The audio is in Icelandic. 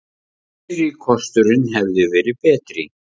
Fyrri kosturinn hefði verið betri.